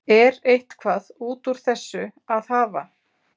Er eitthvað út úr þessu að hafa?